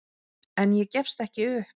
En ég gefst ekki upp.